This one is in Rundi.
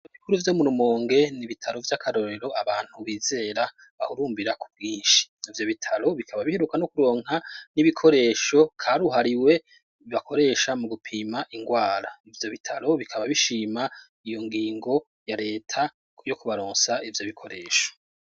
Ibitaro bikuru vyo murumonge n'ibitaro vy'akarorero abantu bizera barahahurumbira ku bwinshi. Ivyobitaro bikaba biheruka no kuronka n'ibikoresho karuhariwe bibakoresha mu gupima ingwara. Ivyobitaro bikaba bishima iyongingo ya reta yo kubaronsa Ivyobikoresho.